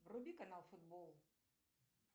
вруби канал футбол